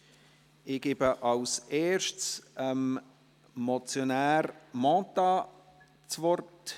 Ich gebe als Erstes dem Motionär Mentha das Wort.